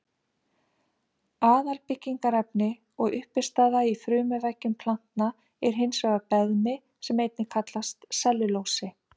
Aðalbyggingarefni og uppistaða í frumuveggjum planta er hins vegar beðmi sem einnig kallast sellulósi.